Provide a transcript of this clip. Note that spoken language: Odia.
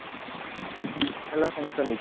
ହେଲା sanction ହେଇଛି।